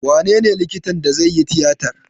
Wanene likitan da zai yi tiyatar?